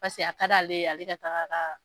Pase a ka d'ale ale ka taaga ka